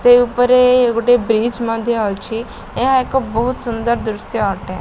ସେ ଉପରେ ଗୋଟେ ବ୍ରିଜ୍ ମଧ୍ୟ ଅଛି ଏହା ଏକ ବୋହୁତ ସୁନ୍ଦର ଦୃଶ୍ୟ ଅଟେ।